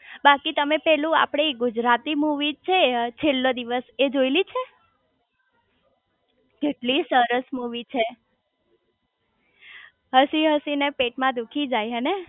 બાકી તમે પેલું આપડી ગુજરાતી મુવી છે છેલ્લો દિવસ એ જોયેલી છે કેટલી સરસ મુવી છે હસી હસી ને પેટમાં દુઃખી જાય હેને